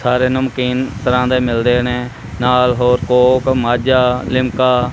ਸਾਰੇ ਨਮਕੀਨ ਤਰਹਾਂ ਦੇ ਮਿਲਦੇ ਨੇ ਨਾਲ ਹੋਰ ਕੋਕ ਮਾਝਾ ਲਿਮਕਾ --